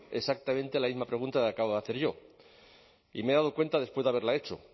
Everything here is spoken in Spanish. exactamente la misma pregunta que acabo de hacer yo y me he dado cuenta después de haberla hecho